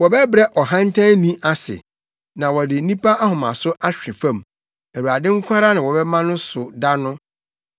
Wɔbɛbrɛ ɔhantanni ase, na wɔde nnipa ahomaso ahwe fam; Awurade nko ara na wɔbɛma no so da no.